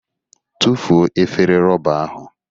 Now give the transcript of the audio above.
tufuo efere rọba ahụ!